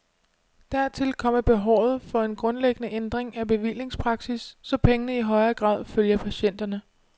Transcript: Dertil kommer behovet for en grundlæggende ændring af bevillingspraksis, så pengene i højere grad følger patienterne.